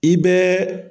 I bɛɛ